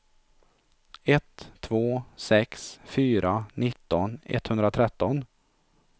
ett två sex fyra nitton etthundratretton